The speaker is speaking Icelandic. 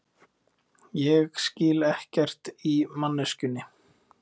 Ég skil ekkert í manneskjunni.